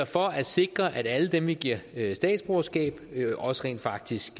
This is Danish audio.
for at sikre at alle dem vi giver statsborgerskab også rent faktisk